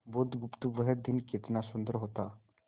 बुधगुप्त वह दिन कितना सुंदर होता